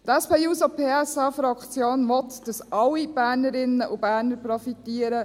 Die SP-JUSO-PSA-Fraktion will, dass alle Bernerinnen und Berner profitieren.